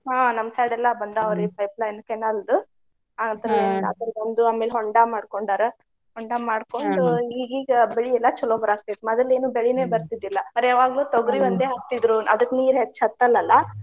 ಹಾ ನಮ್ಮ್ side ಎಲ್ಲಾ pipeline canal ದು. ಅದ್ರದೊಂದು ಆಮೇಲೆ ಹೊಂಡಾ ಮಾಡ್ಕೊಂಡಾರ. ಹೊಂಡಾ ಈಗೀಗ ಬೆಳಿ ಎಲ್ಲಾ ಚಲೋ ಬರಾಕತ್ತೇತ್. ಮದಲ್ ಏನು ಬರ್ತಿದ್ದಿಲ್ಲಾ. ಬರೆ ಯಾವಾಗ್ಲೂ ಹಾಕ್ತಿದ್ರು ಅದಕ್ಕ್ ನೀರ್ ಹೆಚ್ಚ್ ಹತ್ತಲ್ಲ ಅಲ್ಲಾ .